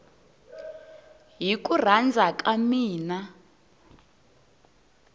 hi ku rhandza ka mina